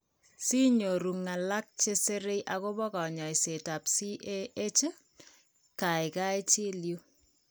Si nyoru ng'alak che sire akobo kaany'ayseetap CAH, kaykaay chil yuu.